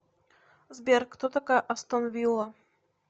сбер кто такая астон вилла